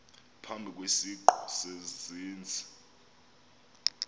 phambi kwesiqu sezenzi